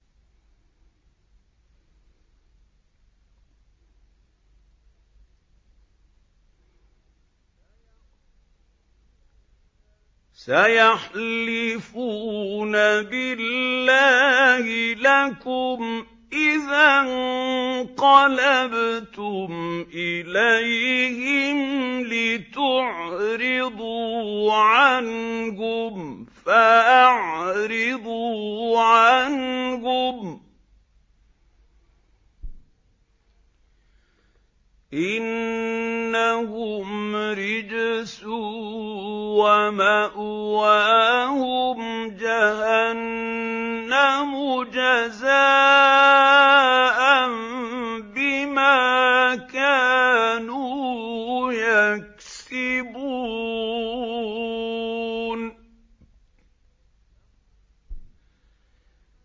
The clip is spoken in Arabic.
سَيَحْلِفُونَ بِاللَّهِ لَكُمْ إِذَا انقَلَبْتُمْ إِلَيْهِمْ لِتُعْرِضُوا عَنْهُمْ ۖ فَأَعْرِضُوا عَنْهُمْ ۖ إِنَّهُمْ رِجْسٌ ۖ وَمَأْوَاهُمْ جَهَنَّمُ جَزَاءً بِمَا كَانُوا يَكْسِبُونَ